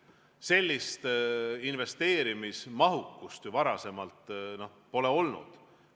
Sellist investeerimismahtu ju varem pole olnud.